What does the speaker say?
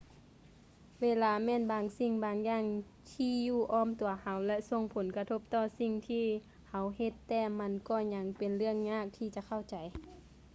ເວລາແມ່ນບາງສິ່ງບາງຢ່າງທີ່ຢູ່ອ້ອມຕົວເຮົາ ແລະ ສົ່ງຜົນກະທົບຕໍ່ທຸກສິ່ງທີ່ເຮົາເຮັດ ແຕ່ມັນກໍຍັງເປັນເລື່ອງຍາກທີ່ຈະເຂົ້າໃຈ